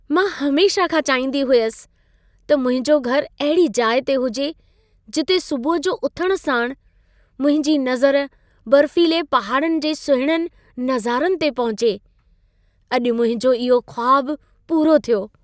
मां हमेशह खां चाहींदी हुयसि त मुंहिंजो घर अहिड़ी जाइ ते हुजे जिते सुबुह जो उथण साण मुंहिंजी नज़र बर्फ़ीले पहाड़नि जे सुहिणनि नज़ारनि ते पहुचे। अॼु मुंहिंजो इहो ख़्वाबु पूरो थियो।